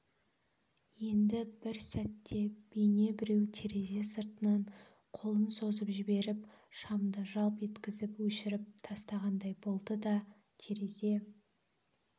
енді бір сәтте бейне біреу терезе сыртынан қолын созып жіберіп шамды жалп еткізіп өшіріп тастағандай болды да терезе